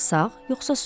Sağ yoxsa sol?